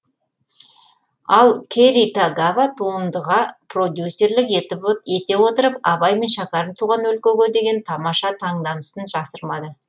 ал кэри тагава туындыға продюсерлік ете отырып абай мен шәкәрім туған өлкөге деген тамаша таңданысын жасырмады